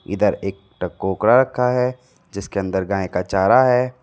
इधर एक टोकरा रखा है जिसके अंदर गाय का चारा है।